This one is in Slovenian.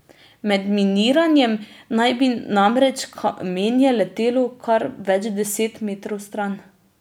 Med miniranjem naj bi namreč kamenje letelo kar več deset metrov stran.